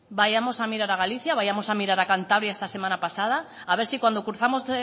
vayamos a mirar a galicia vayamos a mirar a cantabria esta semana pasada a ver si cuando cruzamos